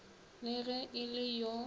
le ge e le yo